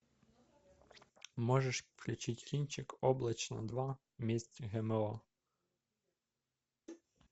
можешь включить кинчик облачно два месть гмо